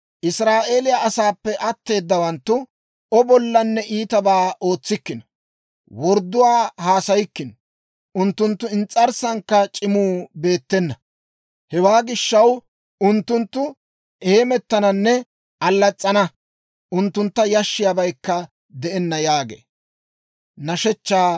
Israa'eeliyaa asaappe atteedawanttu O bollanne iitabaa ootsikkino; wordduwaa haasayikkino; unttunttu ins's'arssankka c'imuu beettena. Hewaa gishshaw, unttunttu heemettananne allas's'ana; unttuntta yashissiyaabaykka de'enna» yaagee.